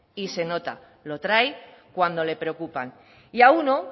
y se nota lo trae cuando le preocupan y a uno